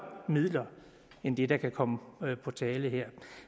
end det der kan komme på tale her